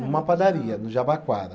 Numa padaria, no Jabaquara.